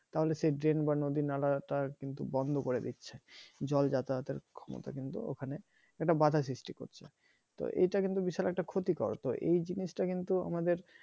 তাহলে সেই drain বা নদী-নালা তা কিন্তু বন্দ করে দিচ্ছে জল যাতায়াতের ক্ষমতা কিন্তু ওখানে একটা বাধা সৃষ্টি করছে তো এটা কিন্তু বিশাল একটা ক্ষতিকর তো এই জিনিসটা কিন্তু আমাদের